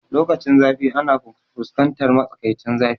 Lokacinzafi ana fuskantar matsakaicin zafi